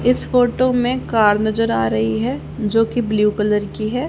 इस फोटो में कार नजर आ रही है जोकि ब्लू कलर की है।